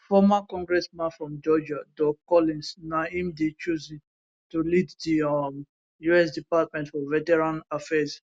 former congressman from georgia doug collins na im dey chosen to lead di um us department for veterans affairs